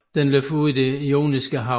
Den løber ud i Det Joniske Hav